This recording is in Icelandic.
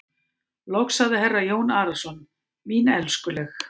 Loks sagði herra Jón Arason:-Mín elskuleg.